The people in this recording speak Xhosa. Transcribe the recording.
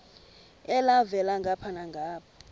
elhavela ngapha nangapha